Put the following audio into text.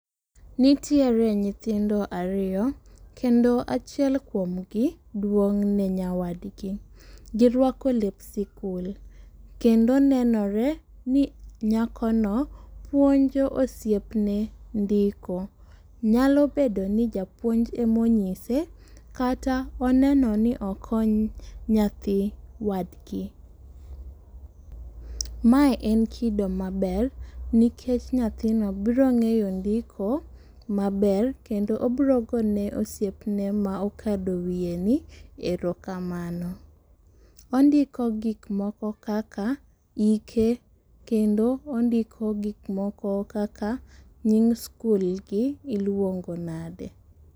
Nitiere nyithindo ariyo kendo achiel kuom gi duong' ne nyawadgi. Girwako lep sikul. Kendo nenore ni nyako no puonjo osiep ne ndiko. Nyalo bedo ni japuonj emonyise kata oneno ni okeny nyathi wadgi. Mae en kido maber, nikech nyathino biro ng'eyo ndiko maber kendo obiro go ne osiepne ma okado miye ni erokamano. Ondiko gik moko kaka ike. Kendo ondiko gik moko kaka nying sikul gi iluongo nade?